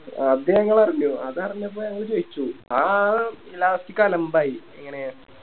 അത് ഞങ്ങളറിഞ്ഞു അത് അറിഞ്ഞപ്പോ ഞങ്ങള് ചോയിച്ചു ആ Last അലമ്പായി എങ്ങനെ